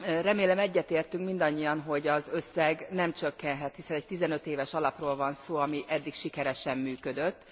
Remélem, egyetértünk mindannyian, hogy az összeg nem csökkenhet, hiszen egy 15 éves alapról van szó, ami eddig sikeresen működött.